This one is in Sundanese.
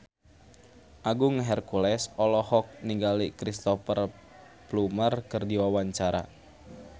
Agung Hercules olohok ningali Cristhoper Plumer keur diwawancara